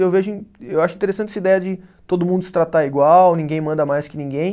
Eu vejo im, eu acho interessante essa ideia de todo mundo se tratar igual, ninguém manda mais que ninguém.